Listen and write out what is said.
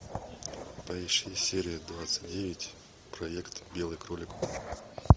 поищи серия двадцать девять проект белый кролик